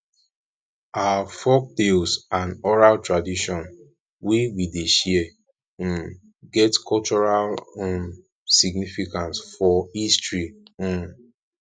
our folktales and oral tradition wey we dey share um get cultural um significance for history um